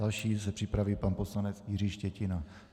Další se připraví pan poslanec Jiří Štětina.